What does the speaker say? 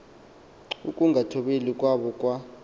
ukungathobeli kwabo kwa